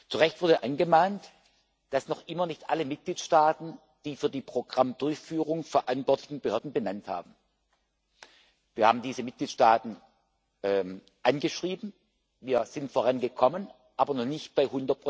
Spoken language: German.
Zu Recht wurde angemahnt, dass noch immer nicht alle Mitgliedstaaten die für die Programmdurchführung verantwortlichen Behörden benannt haben. Wir haben diese Mitgliedstaaten angeschrieben, wir sind vorangekommen, aber noch nicht bei